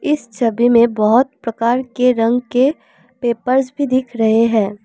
इस छवि में हमें बहोत प्रकार के रंग के पेपर्स भी दिख रहे हैं।